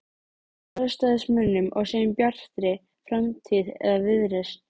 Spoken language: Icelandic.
Sjálfstæðismönnum og segjum Bjartri framtíð eða Viðreisn?